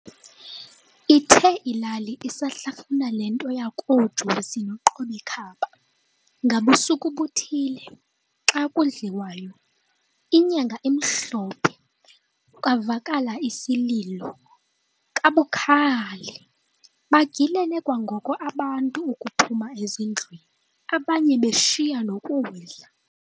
Ithe ilali isahlafuna le nto yakoJosi no"Qob'ikhaba", ngabusuku buthile, xa kudliwayo, inyanga imhlophe, kwavakala isililo kabukhali. bagilene kwangoko abantu ukuphuma ezindlwini, abanye beshiya nokudla.